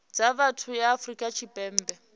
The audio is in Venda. dza vhathu ya afrika tshipembe